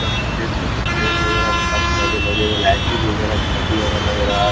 आप यहाँ पर देख सकते हैं फैन वगैरह काफी ज्यादा लगे हुए हैं। लाइटिंग वगैरह भी काफी ज्यादा लग रहा है।